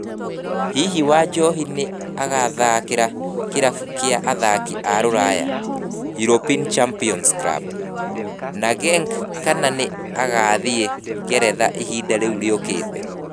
Hihi Wanjohi nĩ agathakĩra kĩrabu kĩa athaki a rũraya (European Champions Club) na Genk kana nĩ agaathiĩ Ngeretha ihinda rĩu rĩũkĩte?